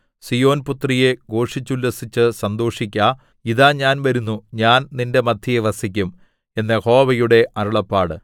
സീയോൻപുത്രിയേ ഘോഷിച്ചുല്ലസിച്ചു സന്തോഷിക്ക ഇതാ ഞാൻ വരുന്നു ഞാൻ നിന്റെ മദ്ധ്യേ വസിക്കും എന്നു യഹോവയുടെ അരുളപ്പാട്